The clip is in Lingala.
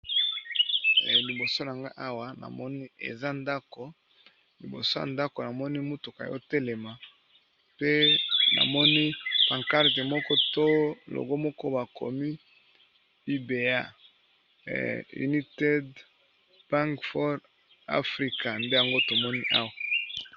Liboso nanga awa namoni eza ndako liboso ya ndako namoni mutuka ya kotelema pe namoni pancarte moko to logo moko bakomi, UBA united bank of afrika nde yango tomoni awa.